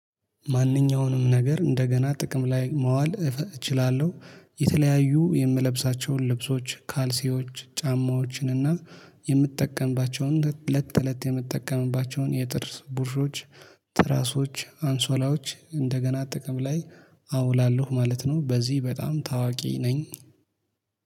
ማንኛውንም ነገር እንደገና ጥቅም ላይ ማዋል እችላለሁ። የተለያዩ የምለብሳቸውን ልብሶች ካልሲዎች ጫማዎችን እና የምጠቀምባቸውን ለት ለት የምጠቀምባቸውን የጥርስ ቡርሾች። ትራሶች አንሶላዎች እንደገና ጥቅም ላይ አውላለሁ ማለት ነው። በዚህ በጣም ታዋቂ ነኝ